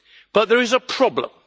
But there's a problem.